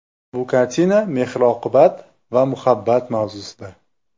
Bu kartina mehr-oqibat va muhabbat mavzusida.